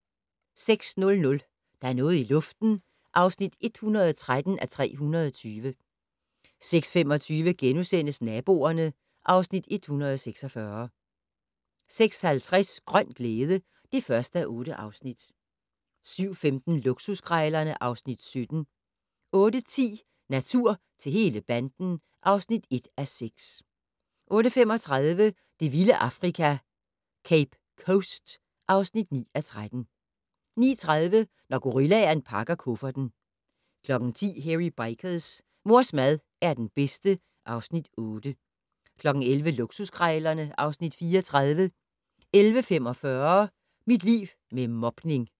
06:00: Der er noget i luften (113:320) 06:25: Naboerne (Afs. 146)* 06:50: Grøn glæde (1:8) 07:15: Luksuskrejlerne (Afs. 17) 08:10: Natur til hele banden (1:6) 08:35: Det vilde Afrika - Cape Coast (9:13) 09:30: Når gorillaen pakker kufferten 10:00: Hairy Bikers: Mors mad er den bedste (Afs. 8) 11:00: Luksuskrejlerne (Afs. 34) 11:45: Mit liv med mobning